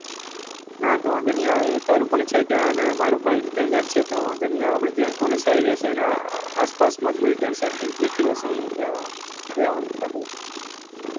હા તો વાંધો નહિ આવે તારું પણ છે ત્યાં ને મારું પણ ત્યાં ઘર છે તો વાંધો નહિ આવે આપડે જ્યાં college સારી રેહશે ત્યાં આસપાસ માં દેખી લઈશું ત્યાં રહીશું